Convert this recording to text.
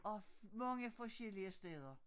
Og mange forskellige steder